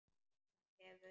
Hann hefur.